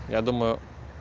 я думаю